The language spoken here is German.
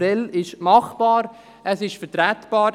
Prêles ist machbar, es ist vertretbar.